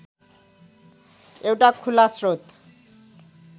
एउटा खुला श्रोत